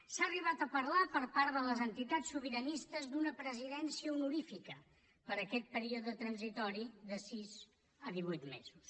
s’ha arribat a parlar per part de les entitats sobiranistes d’una presidència honorífica per a aquest període transitori de sis a divuit mesos